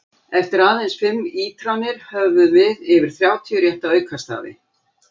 Eftir aðeins fimm ítranir höfum við yfir þrjátíu rétta aukastafi!